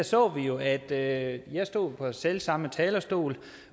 så vi jo at jeg stod her på selv samme talerstol